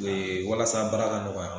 Ee walasa baara ka nɔgɔya.